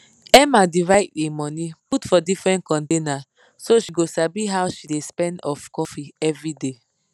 emma divide e money put for different container so she go sabi how she dey spend of coffee everyday